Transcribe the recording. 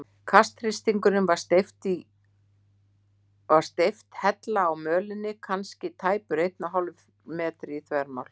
Kasthringurinn var steypt hella á mölinni, kannski tæpur einn og hálfur metri í þvermál.